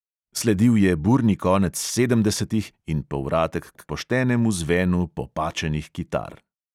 Sledil je burni konec sedemdesetih in povratek k poštenemu zvenu popačenih kitar.